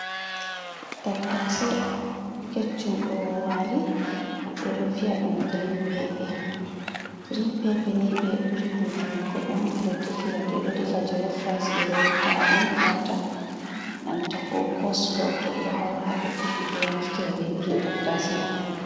Tattase kecchum, do wali ɓe do viya dum green pepe, green pepe ni ɓe ɓuri hutunorgo ɗum ɓeɗo defira to ɓedo defa jolo Reis ɓe ɗo ta’a ɗum wata, nanta ko koslo to be do haura, ɓe ɓuri be do naftira be irin tattase mai.